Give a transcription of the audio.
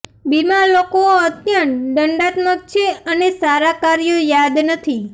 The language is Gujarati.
બીમાર લોકો અત્યંત દંડાત્મક છે અને સારા કાર્યો યાદ નથી